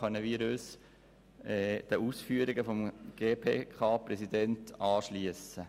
Diesbezüglich können wir uns den Ausführungen des GPK-Präsidenten anschliessen.